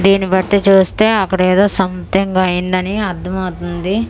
దీన్ని బట్టి చూస్తే అక్కడ ఎదో సమితింగ్ అయ్యింది అని అర్దం మవుతుంది.